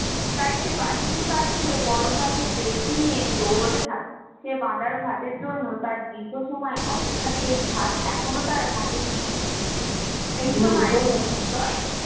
দাইসে বাহিনীর কাছ থেকে বড়বাজার দেশকে নিয়ে দৌড়াতে থাকে সে ভাতের জন্য তার দীর্ঘ সময় অপেক্ষা শেষ ভাত এখনও তার হাতে নিয়েছে